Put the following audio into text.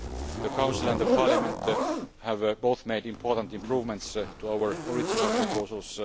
The Council and Parliament have both made important improvements to our original proposals.